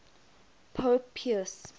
pope pius